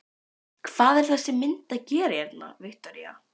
Hvað er þessi mynd að gera hérna, Viktoría?